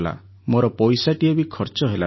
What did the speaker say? ମୋର ପଇସାଟିଏ ବି ଖର୍ଚ୍ଚ ହେଲାନି